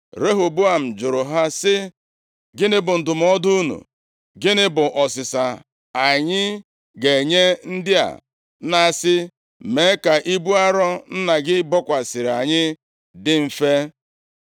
Rehoboam jụrụ ha sị, “Gịnị bụ ndụmọdụ unu? Gịnị bụ ọsịsa anyị ga-enye ndị a na-asị, ‘Mee ka ibu arọ nna gị bokwasịrị anyị dị mfe’? ”